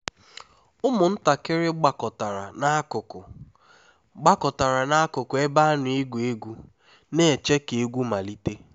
ụmụntakịrị gbakọtara n'akụkụ gbakọtara n'akụkụ ebe a na-egwu egwu na-eche ka egwu malite